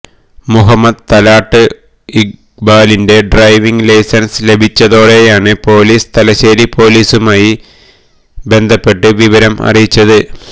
മുഹമ്മദ് തലാട്ട് ഇഖ്ബാലിന്റെ driving licence ലഭിച്ചതോടെയാണ് police Thalassery പോലീസുമായി ബന്ധപ്പെട്ട് വിവരം അറിയിച്ചത്